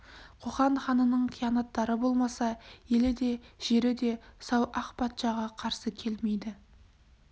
қоқан ханының қиянаттары болмаса елі де жері де сау ақ патшаға қарсы келмейді